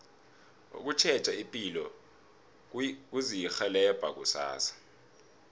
ukutjheja ipilo kuzirhelebha kusasa